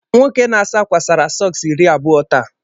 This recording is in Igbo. nwoke na-asa ákwà Sara sọks iri abụọ taa